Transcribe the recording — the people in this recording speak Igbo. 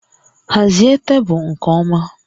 Hazie tebụl nke ọma